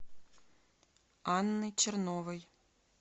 анны черновой